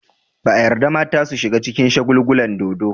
Ba a yarda mata su shiga cikin shagulgulan dodo.